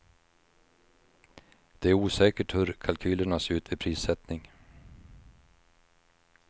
Det är osäkert hur kalkylerna ser ut vid prissättning.